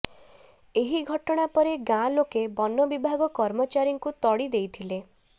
ଏହି ଘଟଣା ପରେ ଗାଁ ଲୋକେ ବନ ବିଭାଗ କର୍ମଚାରୀଙ୍କୁ ତଡ଼ି ଦେଇଥିଲେ